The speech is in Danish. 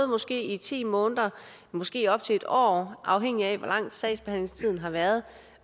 måske ti måneder måske op til et år afhængigt af hvor lang sagsbehandlingstiden har været